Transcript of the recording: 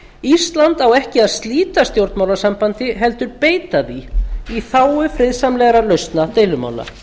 ísland á ekki að slíta stjórnmálasambandi heldur beita því í þágu friðsamlegrar lausnar deilumála